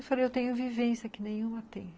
Eu falei, eu tenho vivência que nenhuma tem.